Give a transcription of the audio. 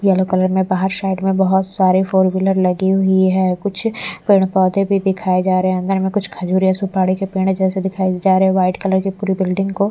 yellow colour में बाहर side में बहुत सारी फोर व्हीलर लगी हुई है कुछ पेड़ पौधे भी दिखाए जा रहे हैं अंदर में कुछ खजूरे या सुपाड़ी के पेड़ जैसे दिखाए जा रहे हैं वाइट कलर की पूरी बिल्डिंग को--